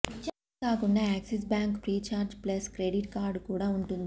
ఇదే కాకుండా Axis Bank Freecharge plus credit card కూడా ఉంటుంది